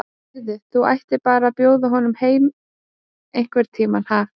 Heyrðu. þú ættir bara að bjóða honum heim einhvern tíma, ha.